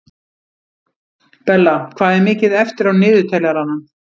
Bella, hvað er mikið eftir af niðurteljaranum?